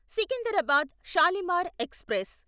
Secunderabad Shalimar express